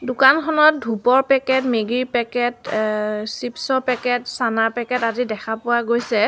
দোকানখনত ধূপৰ packet Maggi ৰ পেকেট এ চিপচ ৰ পেকেট চানাৰ পেকেট আদি দেখা পোৱা গৈছে।